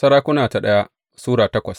daya Sarakuna Sura takwas